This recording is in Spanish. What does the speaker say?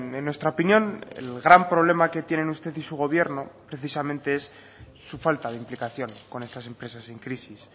en nuestra opinión el gran problema que tienen usted y su gobierno precisamente es su falta de implicación con estas empresas en crisis